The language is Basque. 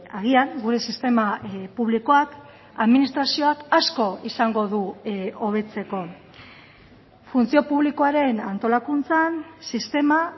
agian gure sistema publikoak administrazioak asko izango du hobetzeko funtzio publikoaren antolakuntzan sistema